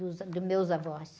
Dos, ah, dos meus avós.